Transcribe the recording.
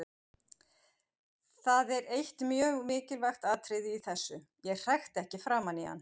Það er eitt mjög mikilvægt atriði í þessu: Ég hrækti ekki framan í hann.